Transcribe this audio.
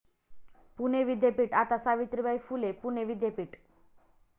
पुणे विद्यापीठ आता सावित्रीबाई फुले पुणे विद्यापीठ!